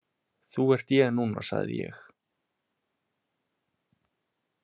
Þú ert ég núna, sagði ég.